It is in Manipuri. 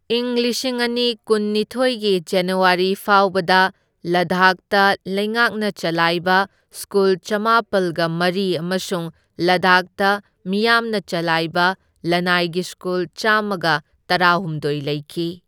ꯏꯪ ꯂꯤꯁꯤꯡ ꯑꯅꯤ ꯀꯨꯟꯅꯤꯊꯣꯢꯒꯤ ꯖꯅꯋꯥꯔꯤ ꯐꯥꯎꯕꯗ ꯂꯗꯥꯈꯇ ꯂꯩꯉꯥꯛꯅ ꯆꯂꯥꯏꯕ ꯁ꯭ꯀꯨꯜ ꯆꯥꯝꯃꯥꯄꯜꯒ ꯃꯔꯤ ꯑꯃꯁꯨꯡ ꯂꯗꯥꯈꯇ ꯃꯤꯌꯥꯝꯅ ꯆꯂꯥꯏꯕ ꯂꯅꯥꯏꯒꯤ ꯁ꯭ꯀꯨꯜ ꯆꯥꯝꯃꯒ ꯇꯔꯥꯍꯨꯝꯗꯣꯢ ꯂꯩꯈꯤ꯫